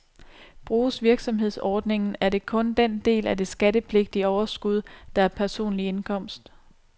Bruges virksomhedsordningen, er det kun den del af det skattepligtige overskud, der er personlig indkomst,